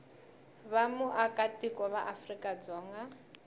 va muakatiko wa afrika dzonga